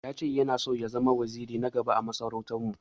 Ya che Yana son ya zama waziri na gaba ã masarautan mu.